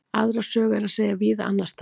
Aðra sögu er að segja víða annars staðar.